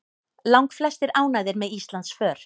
Langflestir ánægðir með Íslandsför